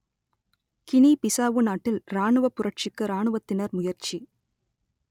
Guinea Bissau நாட்டில் ராணுவப் புரட்சிக்கு ராணுவத்தினர் முயற்சி